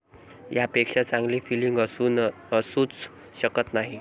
यापेक्षा चांगली फिलींग असूच शकत नाही.